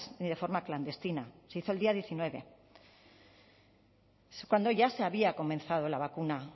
ni de forma clandestina se hizo el día diecinueve cuando ya se había comenzado la vacuna